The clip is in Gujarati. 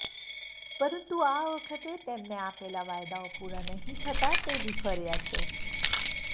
પરંતુ આ વખતે તેમને આપેલા વાયદાઓ પુરા નહિ થતા તે વિફર્યા છે